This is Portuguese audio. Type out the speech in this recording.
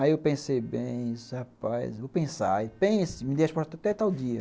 Aí eu pensei bem isso, rapaz, vou pensar e pense, me dei as portas até tal dia.